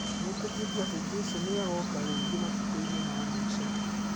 Metĩkĩtie atĩ Jesũ nĩ agoka rĩngĩ matukũ-inĩ ma mũico.